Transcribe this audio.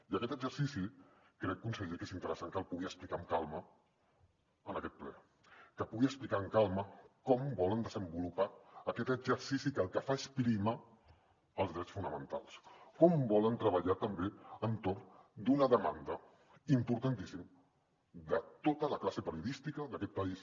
i aquest exercici crec conseller que és interessant que el pugui explicar amb calma en aquest ple que pugui explicar amb calma com volen desenvolupar aquest exercici que el que fa és prioritzar els drets fonamentals com volen treballar també entorn d’una demanda importantíssima de tota la classe periodista d’aquest país